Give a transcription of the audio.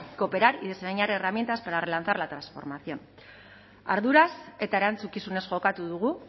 cooperar y diseñar herramientas para relanzar la transformación arduraz eta erantzukizunez jokatu dugu